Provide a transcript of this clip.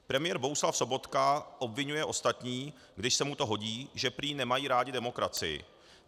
Premiér Bohuslav Sobotka obviňuje ostatní, když se mu to hodí, že prý nemají rádi demokracii.